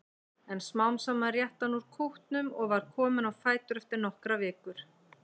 En smám saman rétti hann úr kútnum og var kominn á fætur eftir nokkrar vikur.